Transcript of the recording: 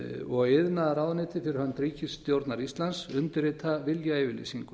og iðnaðarráðuneytið fyrir hönd ríkisstjórnar íslands undirrita viljayfirlýsingu